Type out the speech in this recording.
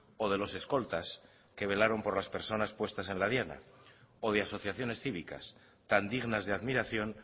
o de los escoltas que velaron por las personas puestas en la diana o de asociaciones cívicas tan dignas de admiración